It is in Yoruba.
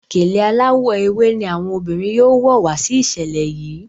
Gèlè aláwò ewé ní àwọn obìrin yóò wò wá sí iṣẹlẹ yi.